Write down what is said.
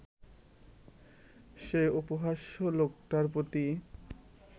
সেই উপহাস্য লোকটার প্রতিই